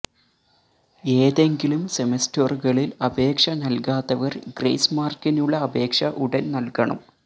ഏതെങ്കിലും സെമസ്റ്ററുകളില് അപേക്ഷ നല്കാത്തവര് ഗ്രേസ് മാര്ക്കിനുള്ള അപേക്ഷ ഉടന് നല്കണം